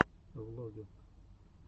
влоги